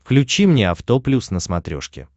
включи мне авто плюс на смотрешке